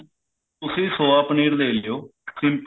ਤੁਸੀਂ soya ਪਨੀਰ ਲੇ ਲਿਓ simple